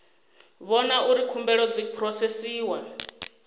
vhona uri khumbelo dzi phurosesiwa